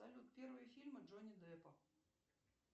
салют первые фильмы джонни деппа